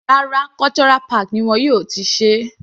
Rárá, Cultural park ni wọn yóò ti ṣe é.